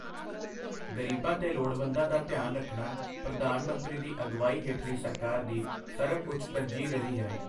ਗ਼ਰੀਬਾਂ ਤੇ ਲੋੜਵੰਦਾਂ ਦਾ ਧਿਆਨ ਰੱਖਣਾ ਪ੍ਰਧਾਨ ਮੰਤਰੀ ਦੀ ਅਗਵਾਈ ਹੇਠਲੀ ਸਰਕਾਰ ਦੀ ਸਰਬਉੱਚ ਤਰਜੀਹ ਰਹੀ ਹੈ।